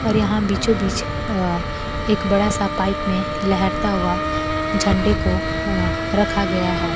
और यहां बीचोबीच अ एक बड़ा सा पाइप में लहरता हुआ झंडे को अ रखा गया है।